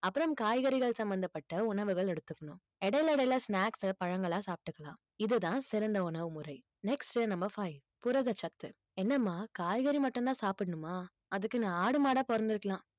அப்புறம் காய்கறிகள் சம்மந்தப்பட்ட உணவுகள் எடுத்துக்கணும். இடையில இடையில snacks பழங்களா சாப்பிட்டுக்கலாம் இதுதான் சிறந்த உணவு முறை next உ number five புரதச் சத்து என்னம்மா காய்கறி மட்டும்தான் சாப்பிடணுமா அதுக்கு நான் ஆடு மாடா பொறந்திருக்கலாம்